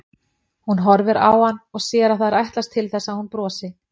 Hún horfir á hann og sér að það er ætlast til þess að hún brosi.